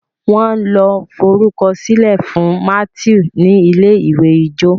wan ló forukọsilẹ fún Matthew ní ilé-ìwé ijó